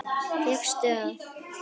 Fékkstu að.